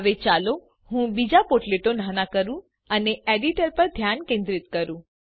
હવે ચાલો હું બીજા પોર્ટલેટો નાના કરું અને એડીટર પર ધ્યાન કેન્દ્રિત કરું